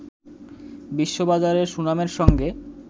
বিশ্ববাজারে সুনামের সঙ্গে